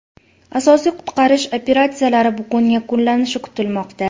Asosiy qutqarish operatsiyalari bugun yakunlanishi kutilmoqda.